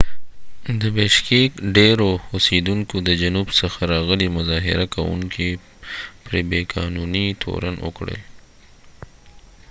د بیشکیک ډیرو اوسیدونکو د جنوب څخه راغلي مظاهره کوونکي پر بی قانونۍ تورن کړل